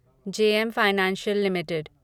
JM financial limited